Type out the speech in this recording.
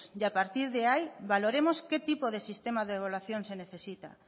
y a partir de ahí valoramos qué tipo de sistema de evaluación se necesita